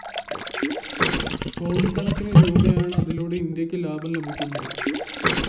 കോടിക്കണക്കിനു രൂപയാണ് അതിലൂടെ ഇന്ത്യക്ക് ലാഭം ലഭിക്കുന്നത്